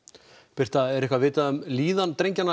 birta er eitthvað vitað um líðan drengjanna